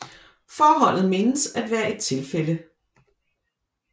Forholdet menes at være et tilfælde